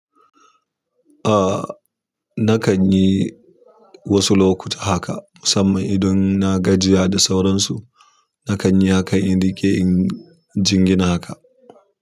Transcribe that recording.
Ah, na kan yi wasu lokuta haka musamman idan na gajiya da sauransu. Na kan yi haka in riƙe in jingina haka.